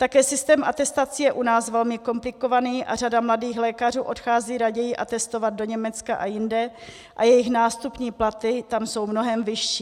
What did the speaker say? Také systém atestací je u nás velmi komplikovaný a řada mladých lékařů odchází raději atestovat do Německa a jinde a jejich nástupní platy tam jsou mnohem vyšší.